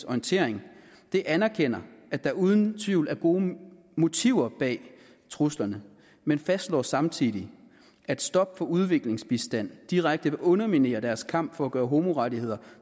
orientering anerkender at der uden tvivl er gode motiver bag truslerne men fastslår samtidig at et stop for udviklingsbistand direkte vil underminere deres kamp for at gøre homorettigheder